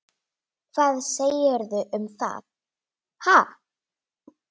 Hvað segirðu um þau, ha?